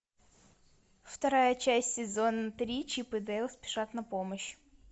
вторая часть сезон три чип и дейл спешат на помощь